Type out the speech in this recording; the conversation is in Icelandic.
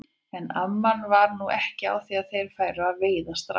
En amman var nú ekki á því að þeir færu að veiða strax.